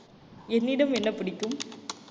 என்னிடம் என்ன பிடிக்கும்